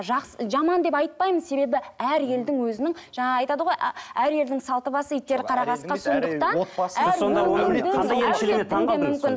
жаман деп айтпаймын себебі әр елдің өзінің жаңағы айтады ғой әр елдің салты басы иттері қара қасқа сондықтан